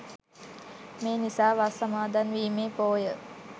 මේ නිසා වස් සමාදන්වීමේ පෝය